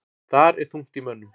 Þar er þungt í mönnum.